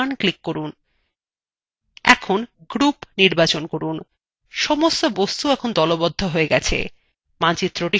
এখন group নির্বাচন করুন সমস্ত বস্তু এখন দলবদ্ধ হয়ে গেছে